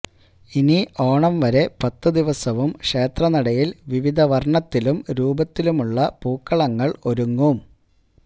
ഇനി ഓണം വരെ പത്ത് ദിവസവും ക്ഷേത്രനടയില് വിവിധ വര്ണ്ണത്തിലും രൂപത്തിലുമുള്ള പൂക്കളങ്ങള് ഒരുങ്ങും